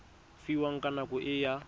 fiwang ka nako e a